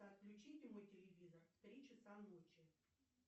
отключите мой телевизор в три часа ночи